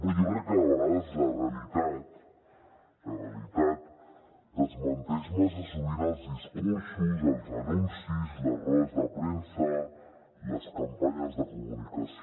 però jo crec que la realitat la realitat desmenteix massa sovint els discursos els anuncis les rodes de premsa les campanyes de comunicació